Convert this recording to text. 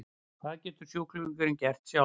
Hvað getur sjúklingurinn gert sjálfur?